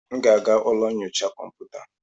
M ga-aga ụlọ nyocha kọmputa.